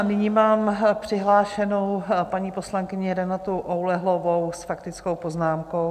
A nyní mám přihlášenou paní poslankyni Renatu Oulehlovou s faktickou poznámkou.